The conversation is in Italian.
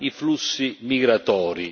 i flussi migratori.